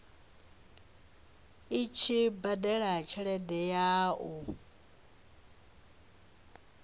tshi badela tshelede ya u